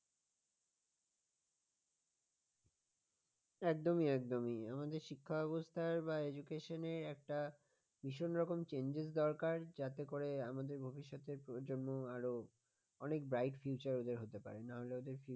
একদমই একদমই আমাদের শিক্ষা ব্যবস্থার বা education একটা ভীষণ রকম changes দরকার যাতে করে আমাদের ভবিষ্যতের প্রজন্ম আরো অনেক bright future ওদের হতে পারে না হলে ওদের future